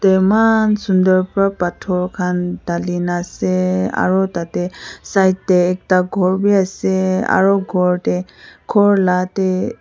eman sunder para pator khan dali na ase aru tate side te ekta ghor bi ase aru ghor te ghor la te.